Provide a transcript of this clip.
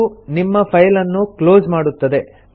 ಇದು ನಿಮ್ಮ ಫೈಲ್ ಅನ್ನು ಕ್ಲೊಸ್ ಮಾಡುತ್ತದೆ